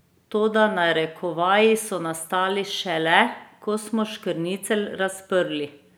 Toda narekovaji so nastali šele, ko smo škrnicelj razprli!